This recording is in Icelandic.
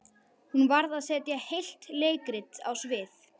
Hún varð að setja heilt leikrit á svið.